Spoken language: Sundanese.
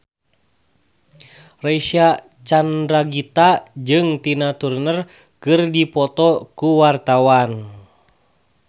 Reysa Chandragitta jeung Tina Turner keur dipoto ku wartawan